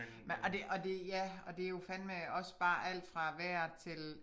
Og det og det ja og det jo fandeme også bare alt fra vejret til